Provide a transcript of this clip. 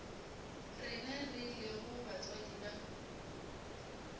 rena re lego batswadi ba